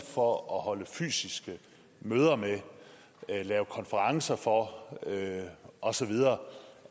for at holde fysiske møder med lave konferencer for og så videre